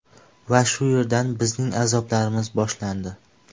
Va shu yerdan bizning azoblarimiz boshlandi.